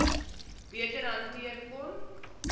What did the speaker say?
beter hanteer kon